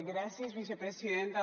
gràcies vicepresidenta